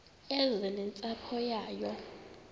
eze nentsapho yayo